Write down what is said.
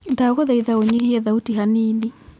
ndagũthaitha ũnyihie thauti hanini